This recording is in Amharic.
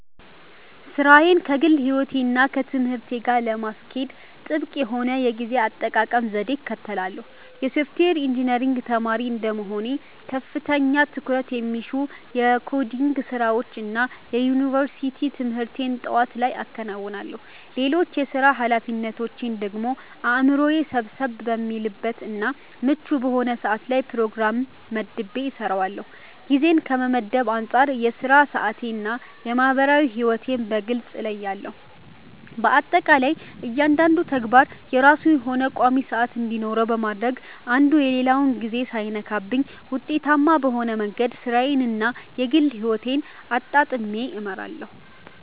ሥራዬን ከግል ሕይወቴ እና ከትምህርቴ ጋር ለማስኬድ ጥብቅ የሆነ የጊዜ አጠቃቀም ዘዴን እከተላለሁ። የሶፍትዌር ኢንጂነሪንግ ተማሪ እንደመሆኔ ከፍተኛ ትኩረት የሚሹ የኮዲንግ ስራዎችን እና የዩኒቨርሲቲ ትምህርቴን ጠዋት ላይ አከናውናለሁ። ሌሎች የሥራ ኃላፊነቶቼን ደግሞ አእምሮዬ ሰብሰብ በሚልበት እና ምቹ በሆነ ሰዓት ላይ በፕሮግራም መድቤ እሰራዋለሁ። ጊዜን ከመመደብ አንፃር የሥራ ሰዓቴን እና የማህበራዊ ሕይወቴን በግልጽ እለያለሁ። በአጠቃላይ እያንዳንዱ ተግባር የራሱ የሆነ ቋሚ ሰዓት እንዲኖረው በማድረግ አንዱ የሌላውን ጊዜ ሳይነካብኝ ውጤታማ በሆነ መንገድ ሥራዬን እና የግል ሕይወቴን አጣጥሜ እመራለሁ።